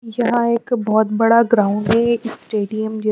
यहां एक बहोत बड़ा ग्राउंड है एक स्टेडियम ज--